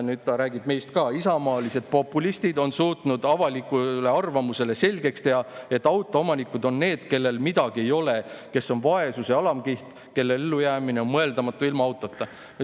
" Nüüd ta räägib meist ka: "Isamaalised populistid on suutnud avalikule arvamusele selgeks teha, et autoomanikud on need, kellel midagi ei ole, kes on vaesuse alamkiht, kelle ellujäämine on mõeldamatu ilma autota.